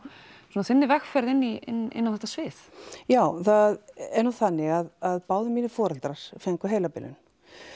frá þinni vegferð inn á þetta svið já það er nú þannig að báðir mínir foreldrar fengu heilabilun